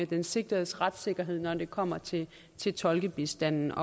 den sigtedes retssikkerhed når det kommer til til tolkebistanden